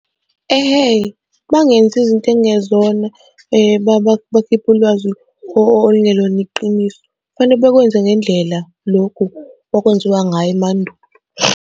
Ehhe, bangenzi izinto ekungezona bakhiphe ulwazi okungelona iqiniso, kufanele bakwenze ngendlela lokhu okwenziwa ngayo emandulo.